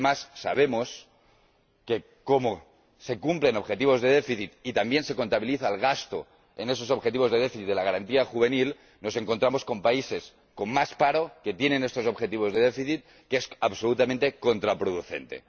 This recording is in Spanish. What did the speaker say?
Y, además, sabemos que, como se cumplen objetivos de déficit y también se contabiliza el gasto en esos objetivos de déficit de la Garantía juvenil, nos encontramos con países con más paro que tienen estos objetivos de déficit, lo que es absolutamente contraproducente.